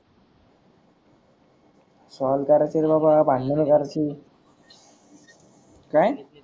solve तर असेलच बा भांडण करती काय?